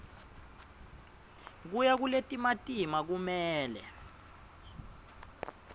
kuya kuletimatima kumele